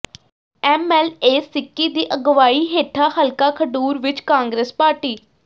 M L A Sikki ਦੀ ਅਗਵਾਈ ਹੇਠਾਂ ਹਲਕਾ ਖਡੂਰ ਵਿੱਚ ਕਾਂਗਰਸ ਪਾਰਟੀ